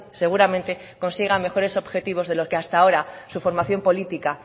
seguramente consiga mejores objetivos de lo que hasta ahora su formación política